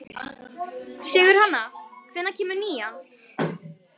Sigurhanna, hvenær kemur nían?